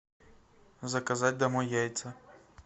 заказать домой яйца